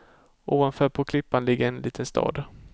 Ovanför på klippan ligger en liten stad.